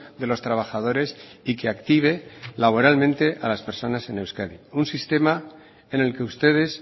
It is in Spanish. de los trabajadores y que active laboralmente a las personas en euskadi un sistema en el que ustedes